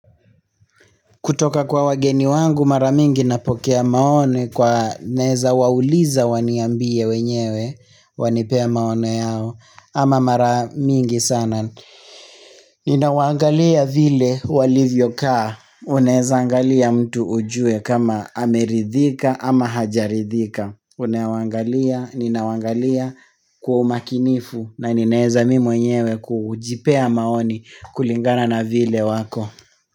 Kutoka kwa wageni wangu mara mingi napokea maoni kwa naeza wauliza waniambie wenyewe. Wanipe maoni yao ama mara mingi sana. Ninawaangalia vile walivyo kaa. Unaeza angalia mtu ujue kama ameridhika ama hajaridhika. Unawaangalia, ninawaangalia kwa umakinifu. Na ninaeza mimi mwenyewe kujipea maoni kulingana na vile wako. Kwa hivyo.